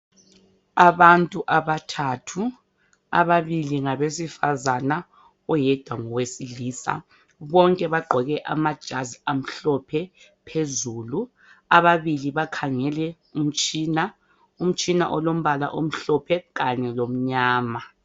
Abantu abathathu ababili ngabesifazana oyedwa ngowesilisa bonke bagqoke amajazi amhlophe phezulu ababili bakhangele umtshina. Umtshina olombala omhlophe kanye lomnyama.